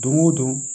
Don o don